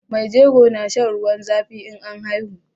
Mai jego na shan ruwan zafi in an haihu